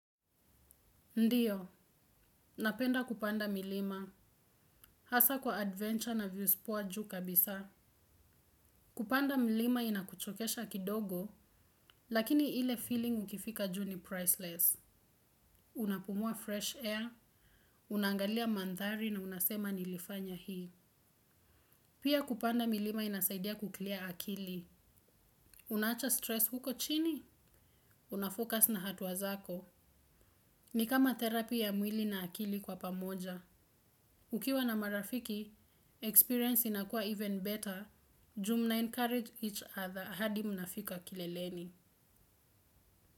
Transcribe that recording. Ndiyo, napenda kupanda milima, hasa kwa adventure na views poa juu kabisa. Kupanda milima inakuchokesha kidogo, lakini ile feeling ukifika juu ni priceless. Unapumua fresh air, unaangalia mandhari na unasema nilifanya hii. Pia kupanda milima inasaidia kuclear akili. Unaacha stress huko chini? Unafocus na hatua zako. Ni kama therapy ya mwili na akili kwa pamoja. Ukiwa na marafiki, experience inakuwa even better, juu mna-encourage each other hadi mnafika kileleni.